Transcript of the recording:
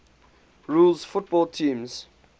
rules football teams